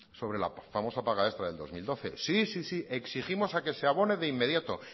sobre la famosa paga extra del dos mil doce sí sí sí exigimos a que se abone de inmediato